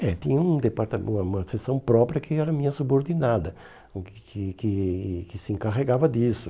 É, tinha um departa uma uma sessão própria que era minha subordinada, que que que se encarregava disso.